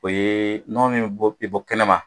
O ye nɔnɔ min bi bɔ t bɔ kɛnɛ ma.